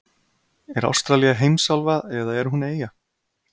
Er Ástralía heimsálfa eða er hún eyja?